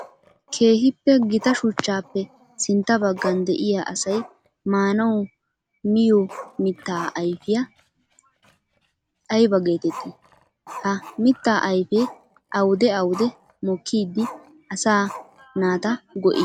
Keehippe gita shuchchappe sintta bagan de'iya asay maanawu miyo mitta aybba geetetti? Ha mitta ayfe awudde awudde mokkiddi asaa naata go'ii?